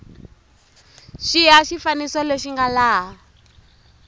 xiya xifaniso lexi nga laha